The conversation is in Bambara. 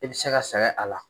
I bɛ se ka sɛgɛn a la.